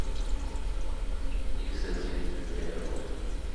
иксэс фит время работы